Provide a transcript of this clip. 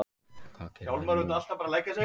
Hvað gerum við nú